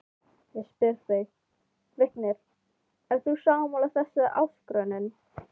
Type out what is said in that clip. Ég spyr þig, Vignir, ert þú sammála þessari áskorun?